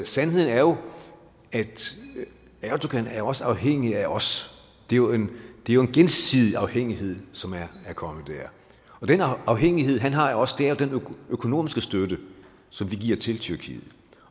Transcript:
sandheden er jo at erdogan også er afhængig af os det er jo en gensidig afhængighed som er kommet der og den afhængighed han har er også den økonomiske støtte som vi giver til tyrkiet